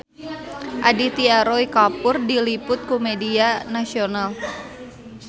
Aditya Roy Kapoor diliput ku media nasional